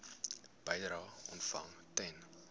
bedrae ontvang ten